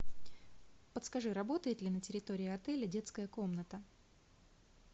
подскажи работает ли на территории отеля детская комната